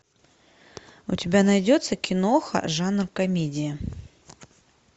у тебя найдется киноха жанр комедия